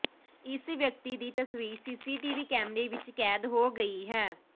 ਇਸ ਵਿਅਕਤੀ ਦੀ ਤਸਵੀਰ ਸੀਸੀਟੀਵੀ ਕੈਮਰੇ ਵਿੱਚ ਕੈਦ ਹੋ ਗਈ ਹੈ